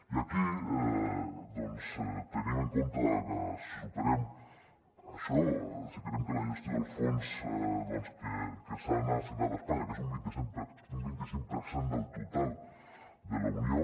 i aquí doncs tenim en compte que si superem això si creiem que la gestió dels fons doncs que s’han assignat a espanya que és un vint i cinc per cent del total de la unió